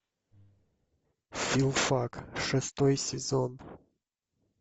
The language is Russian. филфак шестой сезон